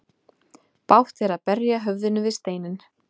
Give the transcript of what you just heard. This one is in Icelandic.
Bágt er að berja höfðinu við steinninn.